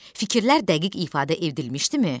Fikirlər dəqiq ifadə edilmişdimi?